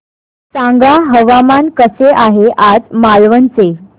सांगा हवामान कसे आहे आज मालवण चे